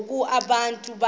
ngoku abantu behamba